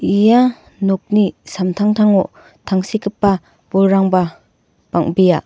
ia nokni samtangtango tangsekgipa bolrangba bang·bea.